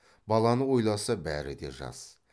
баланы ойласа бәрі де жас